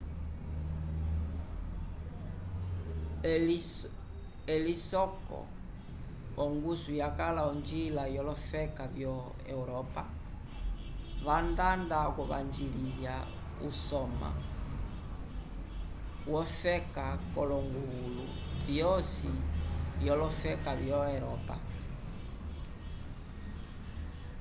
elisoko ongusu yakala onjila olofeka vyo-europa vandanda okuvanjiliya usoma wofeka k'olonguvulu vyosi vyolofeka vyo-eropa